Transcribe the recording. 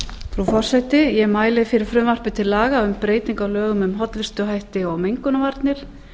frú forseti ég mæli fyrir frumvarpi til laga um breytingu á lögum um hollustuhætti og mengunarvarnir